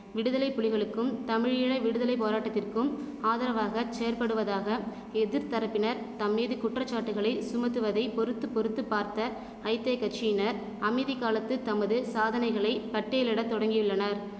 விடுதலை புலிகளுக்கும் தமிழீழ விடுதலை போராட்டத்திற்கும் ஆதரவாக செயற்படுவதாக எதிர்த்தரப்பினர் தம்மீது குற்றச்சாட்டுக்களை சுமத்துவதை பொறுத்து பொறுத்து பார்த்த ஐத்தெ கட்சியினர் அமைதி காலத்து தமது சாதனைகளை பட்டியலிட தொடங்கியுள்ளனர்